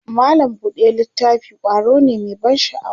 mallam buɗe littafi ƙwaro ne Mai ban sha'awa